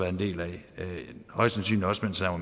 en del af højst sandsynligt også mens han var